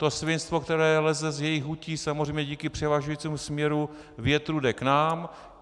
To svinstvo, které leze z jejich hutí, samozřejmě díky převažujícímu směru větru jde k nám.